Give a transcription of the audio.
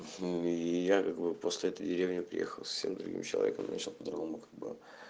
хм и я как бы после этой деревни приехал совсем другим человеком начал по-другому как бы